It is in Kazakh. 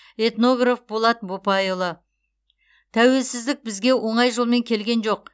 этнограф болат бопайұлы тәуелсіздік бізге оңай жолмен келген жоқ